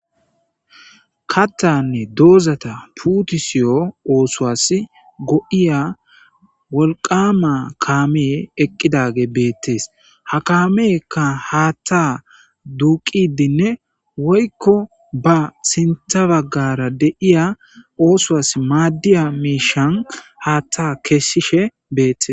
Kathanne mithas puttisi othoso go'iya wolqa kame eqidagey betes ha kameyka hatha duqidi ne woykon basintha bagara osuwan mmadiya misha hatha kesishe betese